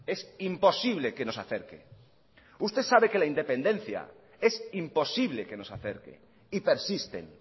es imposible que nos acerque usted sabe que la independencia es imposible que nos acerque y persisten